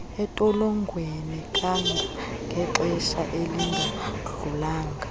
entolongweni kangangexesha elingadlulanga